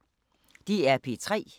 DR P3